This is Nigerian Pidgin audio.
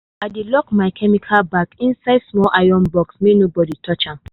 i dey lock my chemical bag inside small iron box make nobody touch am.